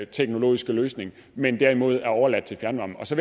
teknologiske løsning men derimod er overladt til fjernvarme så